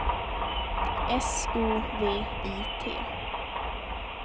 S O V I T